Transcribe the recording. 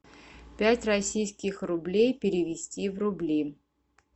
пять российских рублей перевести в рубли